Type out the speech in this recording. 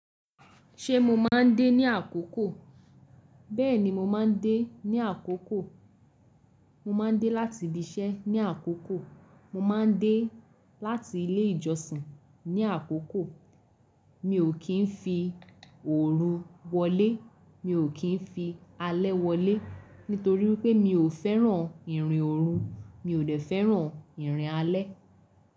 Ṣé mo máa ń dé ní àkókò? Bẹ́ẹ̀ni mo máa ń dé ní àkókò, mo máa ń dé láti ibi iṣẹ́ ní àkókò, mo máa ń dé láti ilé ìjọsìn ní àkókò. Mi ò kì í fi ooru wọlé, mi ò kì í fi alẹ́ wọlé nítorí pé mi ò fẹ́ràn ìrìn ooru, mi ò dẹ fẹ́ràn ìrìn alẹ́.